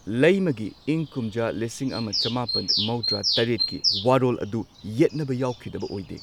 ꯂꯩꯃꯥꯒꯤ ꯏꯪ ꯀꯨꯝꯖꯥ ꯂꯤꯁꯤꯡ ꯑꯃ ꯆꯃꯥꯄꯟ ꯃꯧꯗ꯭ꯔꯥ ꯇꯔꯦꯠꯀꯤ ꯋꯥꯔꯣꯜ ꯑꯗꯨ ꯌꯦꯠꯅꯕ ꯌꯥꯎꯈꯤꯗꯕ ꯑꯣꯏꯗꯦ꯫